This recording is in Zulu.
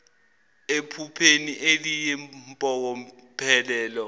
ephupheni eliyi mpokophelelo